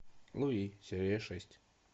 луи серия шесть